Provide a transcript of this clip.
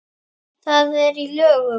Það er í lögum.